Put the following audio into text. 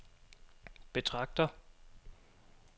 betragter